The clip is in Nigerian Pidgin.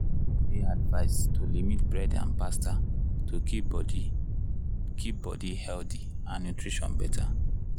people dey advised to limit bread and pasta to keep body keep body healthy and nutrition better.